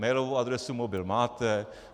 Mailovou adresu, mobil máte.